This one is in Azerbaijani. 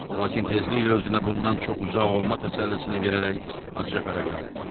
Lakin tezliklə özünə bundan çox uzaq olma təsəllisini verərək acı-acı fərəhləndi.